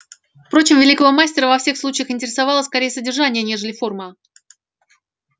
впрочем великого мастера во всех случаях интересовало скорее содержание нежели форма